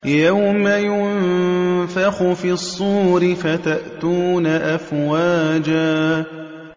يَوْمَ يُنفَخُ فِي الصُّورِ فَتَأْتُونَ أَفْوَاجًا